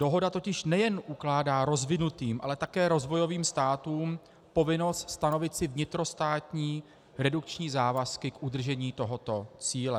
Dohoda totiž nejen ukládá rozvinutým, ale také rozvojovým státům povinnost stanovit si vnitrostátní redukční závazky k udržení tohoto cíle.